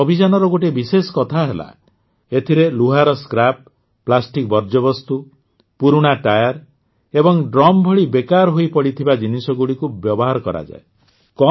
ଏହି ଅଭିଯାନର ଗୋଟିଏ ବିଶେଷ କଥା ହେଲା ଏଥିରେ ଲୁହାର ସ୍କ୍ରାପ୍ ପ୍ଲାଷ୍ଟିକ୍ ବର୍ଜ୍ୟବସ୍ତୁ ପୁରୁଣା ଟାୟାର ଏବଂ ଡ୍ରମ ଭଳି ବେକାର ହୋଇ ପଡ଼ିଥିବା ଜିନିଷଗୁଡ଼ିକୁ ବ୍ୟବହାର କରାଯାଏ